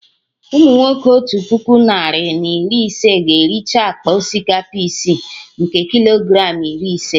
Umunwoke Otu puku narị na iri ise ga ericha akpa osikapa isi, nke Kilogram iri ise